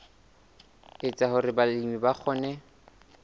etsa hore balemi ba kgone